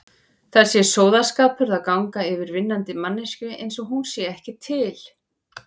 Það sé sóðaskapur að ganga yfir vinnandi manneskju einsog hún sé ekki til.